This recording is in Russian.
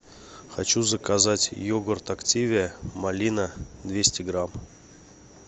хочу заказать йогурт активия малина двести грамм